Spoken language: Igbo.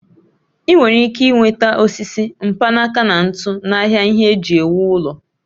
I nwere ike nweta osisi, mkpanaka na ntu n'ahịa ihe eji ewu ụlọ